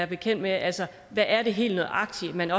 bekendt med altså hvad er det helt nøjagtig man